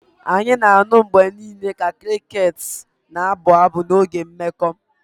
Anyị na-anụ mgbe niile ka crickets na-abụ abụ n'oge oge mmekọ